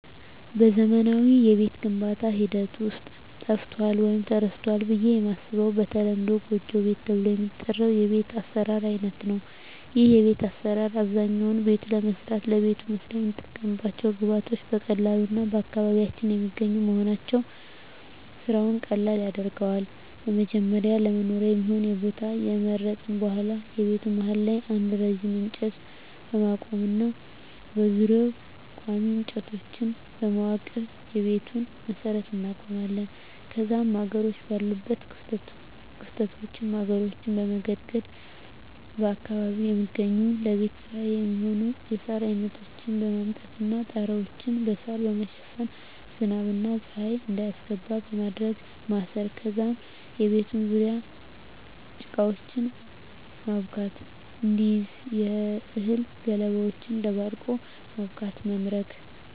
በዘመናዊ የቤት ግንባታ ሐደት ውስጥ ጠፍቶአል ወይም ተረስቶል ብየ የማስበው በተለምዶ ጎጆ ቤት ተብሎ የሚጠራው የቤት አሰራር አይነት ነው ይህ የቤት አሰራር አብዛኛውነ ቤቱን ለመስራት ለቤቱ መስሪያ የምንጠቀምባቸው ግብአቶች በቀላሉ እና በአካባቢያችን የሚገኙ መሆናቸው ስራውን ቀለል ያደርገዋል በመጀመሪያ ለመኖሪያ የሚሆን የቦታ ከመረጥን በሁዋላ የቤቱ መሀል ላይ አንድ ረጅም እንጨት በማቆም እና በዙሪያው ቆሚ እንጨቶችን በማዋቀር የቤቱን መሠረት እናቆማለን ከዛም ማገሮች ባሉት ክፍተቶች ማገሮችን በመገድገድ በአካባቢው የሚገኙ ለቤት ስራ የሚሆኑ የሳር አይነቶችን በማምጣት እና ጣራያውን በሳራ በመሸፈን ዝናብ እና ፀሀይ እንዳያስገባ በማድረግ ማሰር ከዛም የቤቱን ዙርያ ጭቃወችን ማብካት እንዲይዝ የእህል ገለባወችን ደባልቆ በማብካት መምረግ።